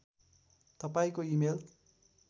तपाईँको इमेल